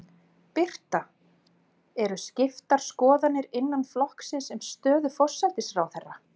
Birta: Eru skiptar skoðanir innan flokksins um stöðu forsætisráðherra?